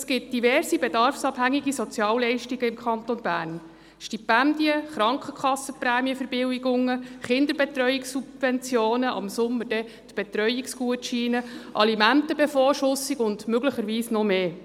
– Es gibt diverse bedarfsabhängige Sozialleistungen im Kanton Bern: Stipendien, Krankenkassenprämien-Verbilligungen, Kinderbetreuungssubventionen, ab Sommer auch Betreuungsgutscheine, Alimenten-Bevorschussung und möglicherweise noch mehr.